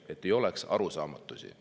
Et ei oleks arusaamatusi.